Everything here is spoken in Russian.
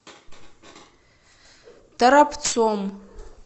торопцом